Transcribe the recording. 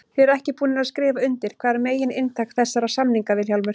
Þið eruð ekki búnir að skrifa undir, hvað er megin inntak þessara samninga Vilhjálmur?